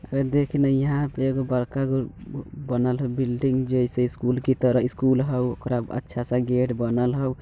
हेय देख ने यहां पर एगो बड़का गो बनल हाउ बिल्डिंग जैसे स्कूल की तरह स्कूल हाउ ओकरा अच्छा सा गेट बनल होऊ।